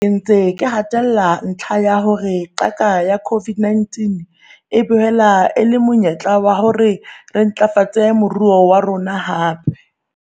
Ke ntse ke hatella ntlha ya hore qaka ya COVID-19 e boela e le monyetlo wa hore re ntlafatse moruo wa rona hape.